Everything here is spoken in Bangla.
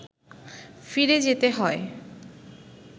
ফিরে যেতে হয়